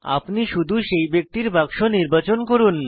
আপনি শুধু সেই ব্যক্তির বাক্স নির্বাচন করুন